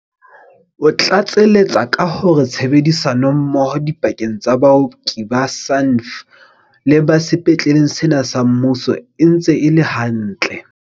O tlatseletsa ka hore tshebedisano mmoho dipakeng tsa baoki ba SANDF le ba sepetleng sena sa mmuso e ntse e le hantle.